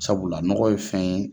Sabula nɔgɔ ye fɛn ye